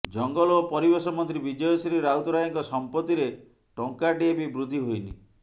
ଜଙ୍ଗଲ ଓ ପରିବେଶ ମନ୍ତ୍ରୀ ବିଜୟଶ୍ରୀ ରାଉତରାୟଙ୍କ ସମ୍ପତ୍ତିରେ ଟଙ୍କାଟିଏ ବି ବୃଦ୍ଧି ହୋଇନି